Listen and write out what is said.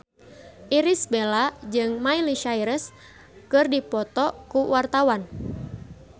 Irish Bella jeung Miley Cyrus keur dipoto ku wartawan